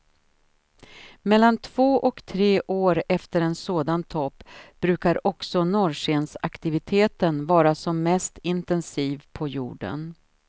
Mellan två och tre år efter en sådan topp brukar också norrskensaktiviteten vara som mest intensiv på jorden.